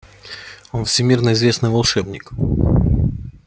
он всемирно известный волшебник